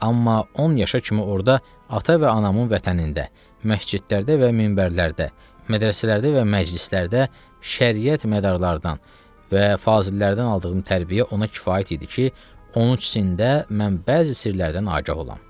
Amma 10 yaşa kimi orda ata və anamın vətənində, məscidlərdə və minbərlərdə, mədrəsələrdə və məclislərdə, şəriyət mədarlardan və fazillərdən aldığım tərbiyə ona kifayət idi ki, 13-ümdə mən bəzi sirlərdən agah olam.